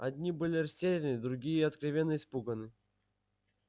одни были растеряны другие откровенно испуганы